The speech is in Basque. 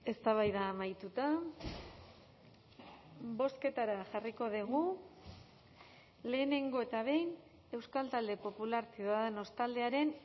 eztabaida amaituta bozketara jarriko dugu lehenengo eta behin euskal talde popular ciudadanos taldearen